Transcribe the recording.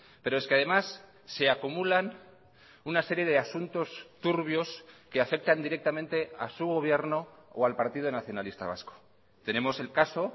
pero es que además se acumulan una serie de asuntos turbios que afectan directamente a su gobierno o al partido nacionalista vasco tenemos el caso